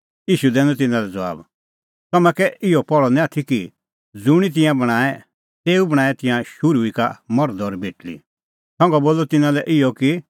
ईशू दैनअ तिन्नां लै ज़बाब तम्हैं कै इहअ पहल़अ निं आथी कि ज़ुंणी तिंयां बणांऐं तेऊ बणांऐं तिंयां शुरू ई का मर्ध और बेटल़ी संघा बोलअ तिन्नां लै इहअ कि